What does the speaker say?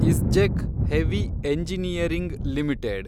ISGEC heavy engineering limited